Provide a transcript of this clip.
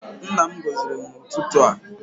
Nna m gọziri m n'ụtụtụ a.